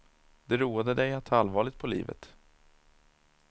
Det roade dig att ta allvarligt på livet.